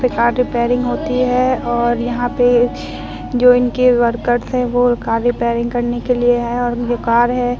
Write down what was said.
यहाँ पे car repairing होती है और यहाँ पे जौन किए वर्कर वो कार रिपेरिंग करने के लिए आये है और ये कार है।